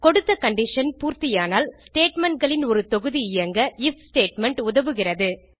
கொடுத்த கண்டிஷன் பூர்த்தியானால் statementகளின் ஒரு தொகுதி இயங்க ஐஎஃப் ஸ்டேட்மெண்ட் உதவுகிறது